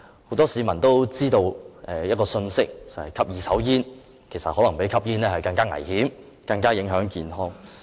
很多市民都知道吸二手煙可能比直接吸煙更加危險，更加影響健康。